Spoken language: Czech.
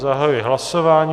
Zahajuji hlasování.